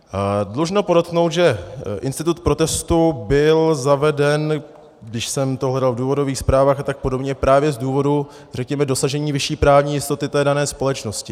Dlužno podotknout, že institut protestu byl zaveden - když jsem to hledal v důvodových zprávách a tak podobně - právě z důvodu, řekněme, dosažení vyšší právní jistoty té dané společnosti.